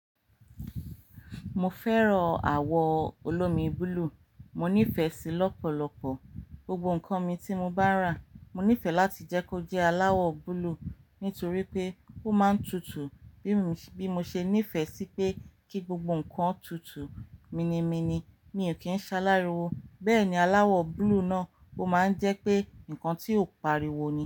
Mo fẹ́ràn àwọ̀ olómi búlúù, mo nífẹ̀ẹ́ sí i lọ́pọ̀lọpọ̀. Gbogbo nǹkan mi tí mo bá rà mo nífẹ̀ẹ́ láti jẹ́ kó jẹ́ aláwọ̀ búlúù nítorí pé ó máa ń tutù bí mo ṣe nífẹ̀ẹ́ sí pé kí gbogbo nǹkan tutù. Mini mini mi ò kí ń ṣa láriwo. Bẹ́ẹ̀ni aláwọ̀ búlúù náà ó máa ń jẹ́ pé nǹkan tí ó pariwo ni.